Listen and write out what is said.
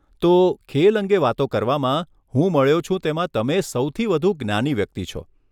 તો, ખેલ અંગે વાતો કરવામાં, હું મળ્યો છું તેમાં તમે સૌથી વધુ જ્ઞાની વ્યક્તિ છો.